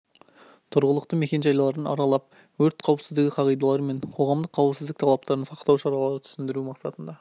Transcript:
тұрғылықты мекен жайларын аралап өрт қауіпсіздігі қағидалары мен қоғамдық қауіпсіздік талаптарын сақтау шаралары түсіндіру мақсатында